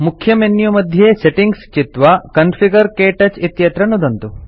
मुख्यमेन्यू मध्ये सेटिंग्स् चित्वा कॉन्फिगर क्तौच इत्यत्र नुदन्तु